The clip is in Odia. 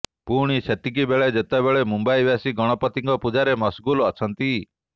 ପୁଣି ସେତିକିବେଳେ ଯେତେବେଳେ ମୁମ୍ବାଇବାସୀ ଗଣପତିଙ୍କ ପୂଜାରେ ମସଗୁଲ ଅଛନ୍ତି